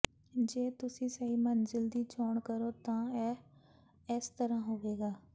ਜੇ ਤੁਸੀਂ ਸਹੀ ਮੰਜ਼ਿਲ ਦੀ ਚੋਣ ਕਰੋ ਤਾਂ ਇਹ ਇਸ ਤਰ੍ਹਾਂ ਹੋਵੇਗਾ